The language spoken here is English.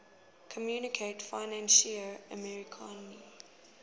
communaute financiere africaine